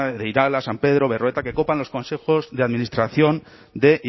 san pedro berroeta que copan los consejos de administración de